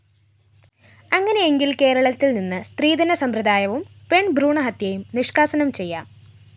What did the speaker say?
അങ്ങനെയെങ്കില്‍ കേരളത്തില്‍ നിന്ന് സ്ത്രീധന സമ്പ്രദായവും പെണ്‍ഭ്രൂണഹത്യയും നിഷ്‌കാസനം ചെയ്യാം